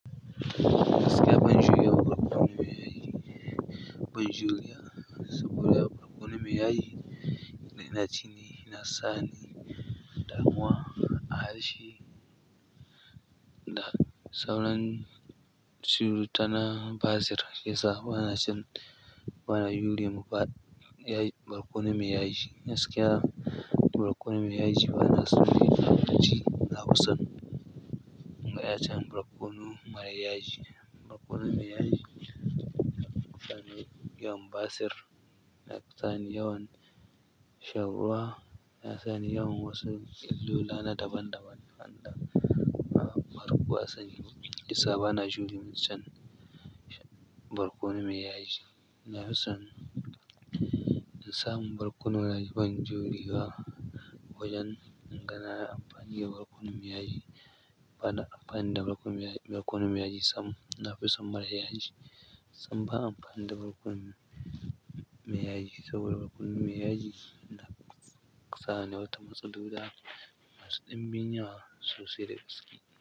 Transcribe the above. Gaskiya ban jure barkono me yaji, ban jurewa saboda barkono me ya yi, ina ci ne yana sani damuwa. Ai shi da sauran ciwutan na basir shiyasa bana ci bana jurewa ya yi barkono me yaji gaskiya, barkono mai yaji bana so ni na ci na fi son in ga ina cin borkonu mara yaji. Barkono me yaji yana sani yawan basir, yana sani yawan shan ruwa, yana sani yawan wasu lalura na daban daban. And barko asani kesa bana juri min shan barkono me yaji. Na fi son in samu barkono mai yaji ban jurewa wajan in ga nayi amfani da barkono me yaji. Bana amfani da barkono me yaji sam, na fi san mara yaji sam ban amfani da borkonu mai yaji, saboda borkonu mai yaji yana sani wata matsalola masu dinbin yawa sosai da gaske.